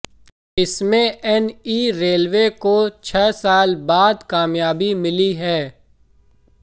इसमें NE railway को छह साल बाद कामयाबी मिली है